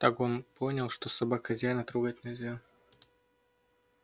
так он понял что собак хозяина трогать нельзя